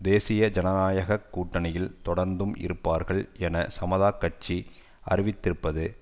தேசிய ஜனநாயக கூட்டணியில் தொடர்ந்தும் இருப்பார்கள் என சமதாக் கட்சி அறிவித்திருப்பது